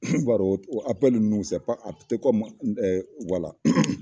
N b'a dɔn ninnu a tɛ kɔmi wala.